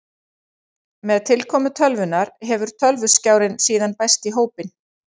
Með tilkomu tölvunnar hefur tölvuskjárinn síðan bæst í hópinn.